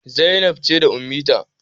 Zainab ce da Ummitina.